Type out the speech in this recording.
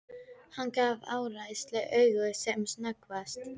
Hann gaf Ársæli auga sem snöggvast.